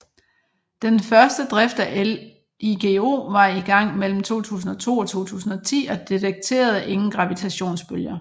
Den første drift af LIGO var i gang mellem 2002 og 2010 og detekterede ingen gravitationsbølger